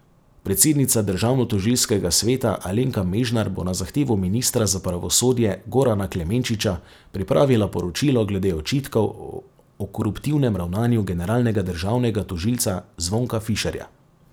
Predsednica Državnotožilskega sveta Alenka Mežnar bo na zahtevo ministra za pravosodje Gorana Klemenčiča pripravila poročilo glede očitkov o koruptivnem ravnanju generalnega državnega tožilca Zvonka Fišerja.